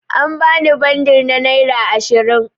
An bani bundur na naira ashirin.